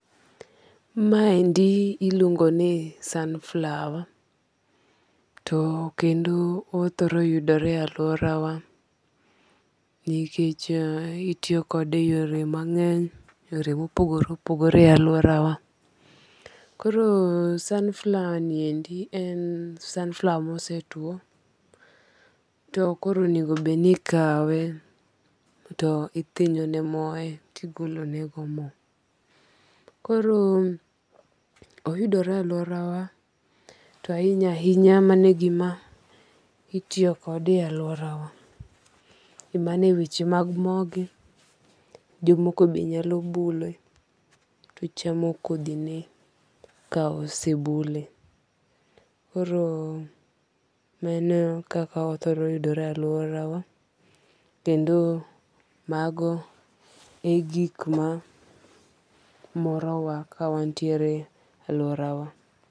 Ma endi iluongo ni sunflower. To kendo othoro yudore e aluora wa nikech itiyo kode e yore mang'eny, yore mopogore opogore e aluora wa. Koro sunflower ni endi en sunflower mose tuo. To koro onego bed ni ikawe to ithinyo ne moe to igolo ne go mo. Koro oyudore e aluora wa to ahinya ahinya mano e gima itiyo kode e aluora wa. Mane wech mag mo gi. Jomoko be nyalo bule to chamo kodhi ne ka ose bule. Koro mano e kaka othoro yudore e aluora wa kendo mago en gik ma morowa ka wantiere e aluora wa.